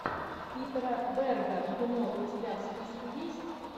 питера берга кино у тебя в списке есть